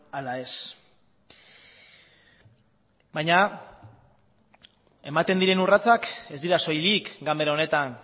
ala ez baina ematen diren urratsak ez dira soilik ganbera honetan